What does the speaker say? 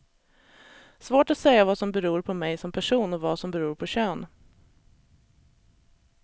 Svårt att säga vad som beror på mig som person och vad som beror på kön.